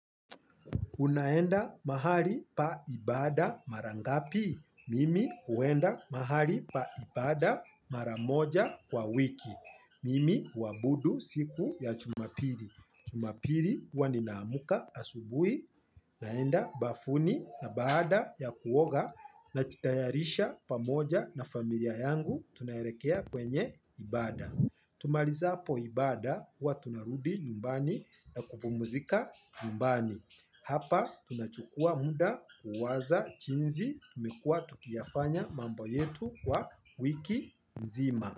Unaenda mahali pa ibada mara ngapi. Mimi huenda mahali pa ibada mara moja kwa wiki. Mimi uabudu siku ya Jumapili. Jumapili huwa ninaamka asubuhi. Naenda bafuni na baada ya kuoga najitayarisha pamoja na familia yangu tunaelekea kwenye ibada. Tumalizapo ibada huwa tunarudi nyumbani na kupumzika nyumbani. Hapa tunachukua muda kuwaza jinsi tumekuwa tukiyafanya mambo yetu kwa wiki nzima.